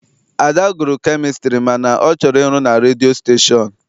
Ada gụrụ kemịstri mana ọ chọrọ ịrụ na redio stashon.